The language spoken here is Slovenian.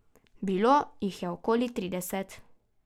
Bilo jih je okoli trideset.